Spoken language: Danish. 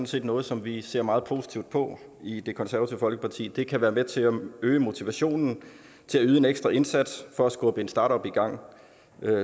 set noget som vi ser meget positivt på i det konservative folkeparti det kan være med til at øge motivationen til at yde en ekstra indsats for at skubbe en startup i gang